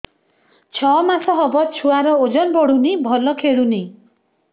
ଛଅ ମାସ ହବ ଛୁଆର ଓଜନ ବଢୁନି ଭଲ ଖେଳୁନି